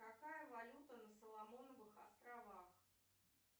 какая валюта на соломоновых островах